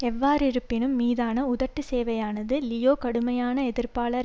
எவ்வாறிருப்பினும் மீதான உதட்டு சேவையானது லியோ கடுமையான எதிர்ப்பாளர்